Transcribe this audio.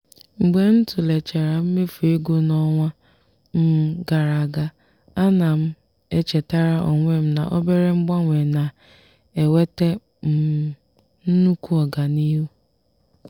mgbe m tụlechara mmefu ego n'ọnwa um gara aga a na m echetara onwe m na obere mgbanwe na-eweta um nnukwu ọganihu.